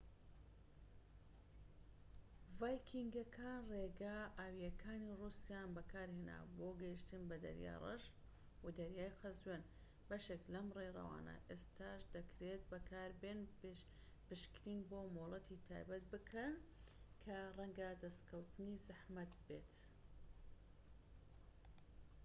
ڤایکینگەکان ڕێگا ئاویەکانی ڕووسیایان بەکارهێنا بۆ گەیشتن بە دەریای ڕەش و دەریای قەزوین بەشێک لەم ڕێڕەوانە ئێستاش دەکرێت بەکاربێن پشکنین بۆ مۆڵەتی تایبەت بکە کە ڕەنگە دەسکەوتنی زەحمەت بێت